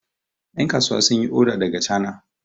yankasuwa sun yi oda daga chana